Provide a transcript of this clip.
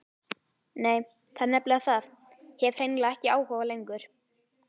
Nei, það er nefnilega það, hef hreinlega ekki áhuga lengur.